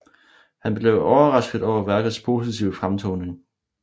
Han blev overrasket over værkets positive fremtoning